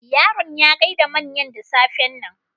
Yaron ya gaida manyan da safen nan.